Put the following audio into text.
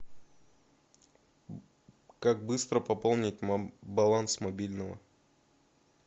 как быстро пополнить баланс мобильного